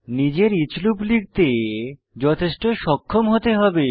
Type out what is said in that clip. নিজের each loop লিখতে যথেষ্ট সক্ষম হতে হবে